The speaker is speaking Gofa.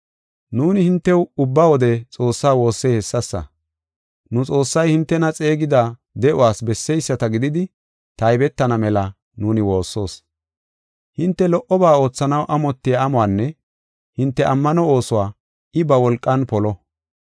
Nuuni hintew ubba wode Xoossaa woossey hessasa. Nu Xoossay hintena xeegida de7uwas besseyisata gididi taybetana mela nuuni woossoos. Hinte lo77oba oothanaw amotiya amuwanne hinte ammano oosuwa I ba wolqan polo.